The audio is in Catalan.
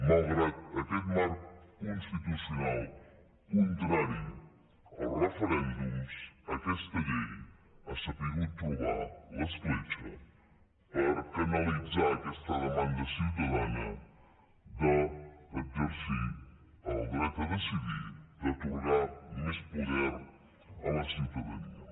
malgrat aquest marc constitucional contrari als referèndums aquesta llei ha sabut trobar l’escletxa per canalitzar aquesta demanda ciutadana d’exercir el dret a decidir d’atorgar més poder a la ciutadania